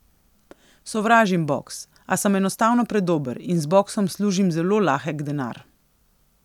Sovražim boks, a sem enostavno predober in z boksom služim zelo lahek denar.